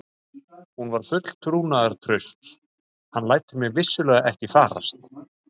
Hún var full trúnaðartrausts: hann lætur mig vissulega ekki farast.